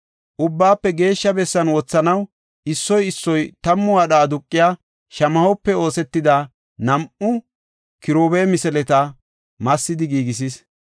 Ubbaafe Geeshsha bessan wothanaw issoy issoy tammu wadha aduqiya shamahope oosetida nam7u kiruube misileta massidi giigisis.